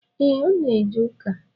E, Ọ na eje ụka